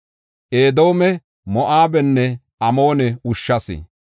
Edoome, Moo7abenne Amoone ushshas.